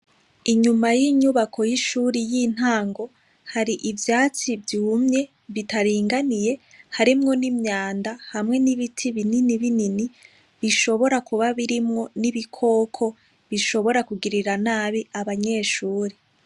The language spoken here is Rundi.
Inyuma y'inyubako y'ishure y'intango, hari ivyatsi vyumye, bitaringaniye. Harimwo n'imyanda hamwe n'ibiti bininibinini. Bishobora kuba birimwo n'ibikoko bishobora kugirira nabi abanyeshure.